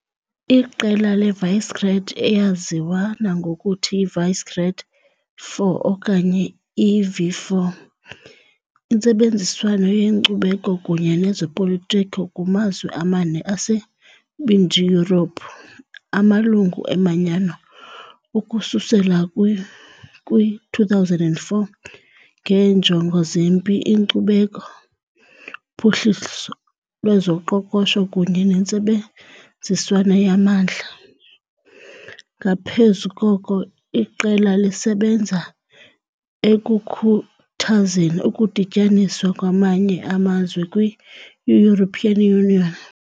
Iqela leVisegrád, eyaziwa nangokuthi Visegrád 4 okanye i-V4, intsebenziswano yenkcubeko kunye nezopolitiko kumazwe amane aseMbindi Yurophu - amalungu eManyano ukususela kwi-2004 - ngeenjongo zempi, inkcubeko, uphuhliso lwezoqoqosho kunye nentsebenziswano yamandla, ngaphezu koko, iqela lisebenza ekukhuthazeni ukudityaniswa kwamanye amazwe kwi- European Union.